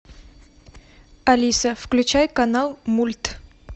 алиса включай канал мульт